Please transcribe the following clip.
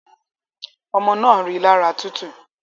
Ọmọ naa rilara tutu